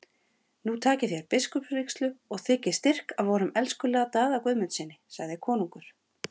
Nú takið þér biskupsvígslu og þiggið styrk af vorum elskulega Daða Guðmundssyni, sagði konungur.